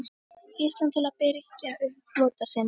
Íslands til að birgja upp flota sinn.